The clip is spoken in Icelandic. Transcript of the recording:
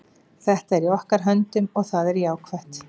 Þetta er í okkar höndum og það er jákvætt.